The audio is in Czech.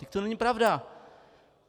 Vždyť to není pravda.